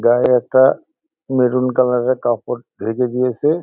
গায়ে একটা বেগুনি কালার -এর একটা কাপড় ঢেকে দিয়েছে।